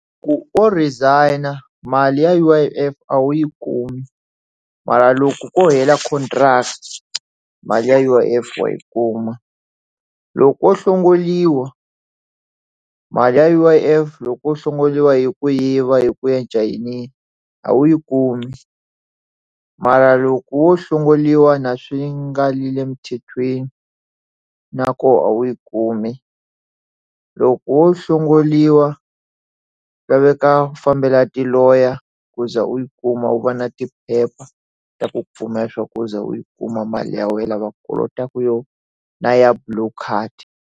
Loko u resign-a mali ya U_I_F a wu yi kumi mara loko ko hela contract mali ya U_I_F wa yi kuma loko hlongoriwa mali ya U_I_F loko wo hlongoriwa hi ku yiva hi ku ya a wu yi kumi mara loko wo hlongoriwa na le swi nga le mthethweni na kona a wu yi kumi loko wo hlongoriwa swi laveka ku fambela tiloya ku za u yi kuma u va na ti phepha ta ku pfuna ya swa ku ze u yi kuma mali ya wena va kolotaka yona ya blue card.